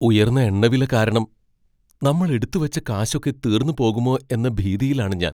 ഉയർന്ന എണ്ണവില കാരണം നമ്മൾ എടുത്തുവെച്ച കാശൊക്കെ തീർന്നുപോകുമോ എന്ന ഭീതിയിലാണ് ഞാൻ.